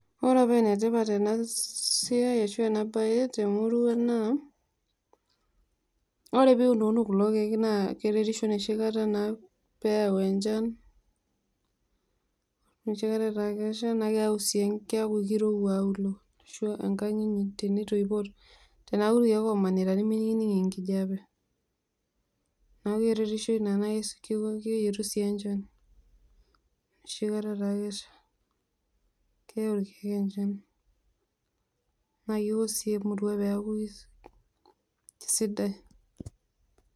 Ore pa enetipat enasiai ashu ena bae temurua naa ore piunuunu kulo kiek na keretisho enoshi kata naa peyau enchan, enoshi kata ataa kesha na keyau sii keaku kirowua auliuo enkang ino tenintoipo neaku rkiek omanita nimining enkijape, neakukeretisho amu keyietu si enchan enoahitaka etiiosiwuo na keyau sii enchanpeaku kesidai.